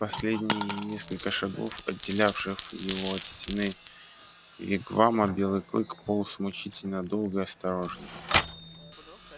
последние несколько шагов отделявших его от стены вигвама белый клык полз мучительно долго и осторожно